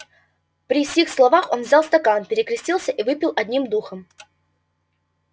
при сих словах он взял стакан перекрестился и выпил одним духом